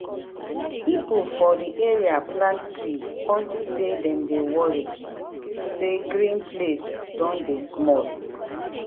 people for the area plant tree unto say dem dey worry say green place don dey small.